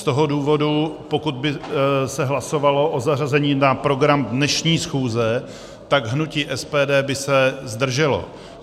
Z toho důvodu, pokud by se hlasovalo o zařazení na program dnešní schůze, tak hnutí SPD by se zdrželo.